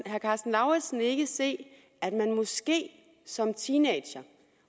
lauritzen ikke se at man måske som teenager